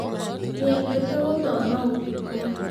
Nĩendete gũthoma ũtukũ.